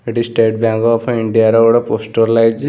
ଏଠି state bank of India ର ଗୋଟେ ପୋଷ୍ଟର ଲାଗିଛି ।